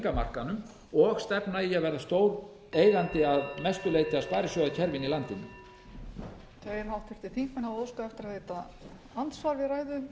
af markaðnum og stefna í að verða stór eigandi að mestu leyti að sparisjóðakerfinu í landinu